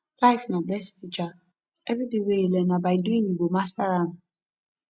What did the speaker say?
life na best teacher everyting wey you learn na by doing you go master am